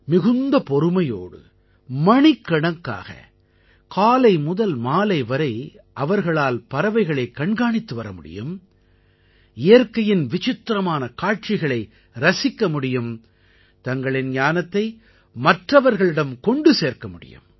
மிகுந்த பொறுமையோடு மணிக்கணக்காக காலை முதல் மாலை வரை அவர்களால் பறவைகளைக் கண்காணித்து வர முடியும் இயற்கையின் விசித்திரமான காட்சிகளை ரசிக்க முடியும் தங்களின் ஞானத்தை மற்றவர்களிடம் கொண்டு சேர்க்க முடியும்